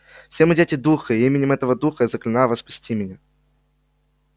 все мы дети духа и именем этого духа я заклинаю вас спасти меня